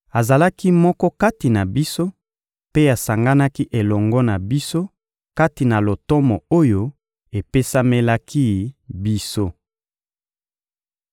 Azalaki moko kati na biso mpe asanganaki elongo na biso kati na lotomo oyo epesamelaki biso.»